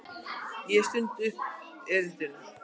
Ég stundi upp erindinu.